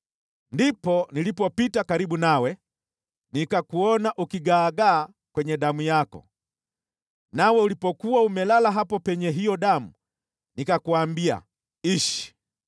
“ ‘Ndipo nilipopita karibu nawe nikakuona ukigaagaa kwenye damu yako, nawe ulipokuwa umelala hapo penye hiyo damu nikakuambia, “Ishi!”